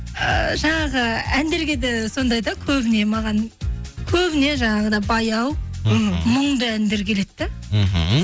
ы жаңағы әндерге де сондай да көбіне маған көбіне жаңағыдай баяу мхм мұңды әндер келеді де мхм